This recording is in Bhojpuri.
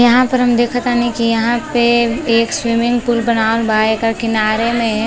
यहाँँ पर हम देख तानी यहाँँ पे एक स्विमिंग पूल बनावल बा एकर किनारे में --